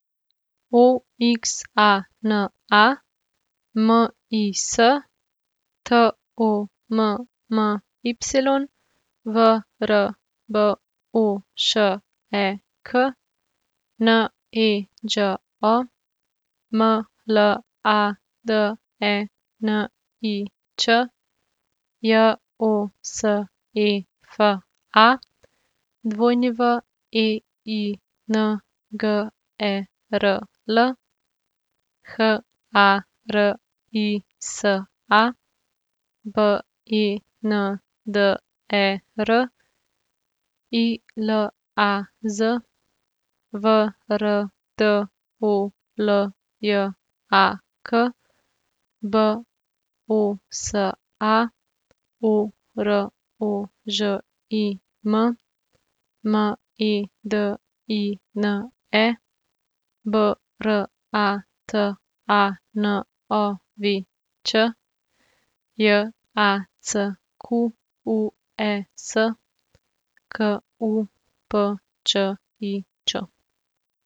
O X A N A, M I S; T O M M Y, V R B O Š E K; N E Đ O, M L A D E N I Č; J O S E F A, W E I N G E R L; H A R I S A, B E N D E R; I L A Z, V R D O L J A K; B O S A, O R O Ž I M; M E D I N E, B R A T A N O V Ć; J A C Q U E S, K U P Č I Č.